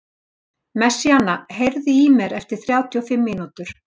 Messíana, heyrðu í mér eftir þrjátíu og fimm mínútur.